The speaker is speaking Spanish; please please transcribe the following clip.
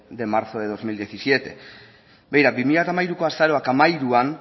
de marzo del dos mil diecisiete begira bi mila hamairuko azaroak hamairuan